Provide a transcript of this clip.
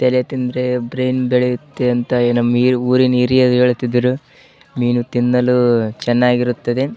ತಲೆ ತಿಂದ್ರೆ ಬ್ರೈನ್ ಬೆಳೆಯುತ್ತೆ ಅಂತ ನಮ್ಮ ಊರಿನ ಹಿರಿಯರು ಹೇಳ್ತಿದ್ರು ಮೀನು ತಿನ್ನಲು ಚೆನ್ನಾಗಿರುತ್ತದೆ.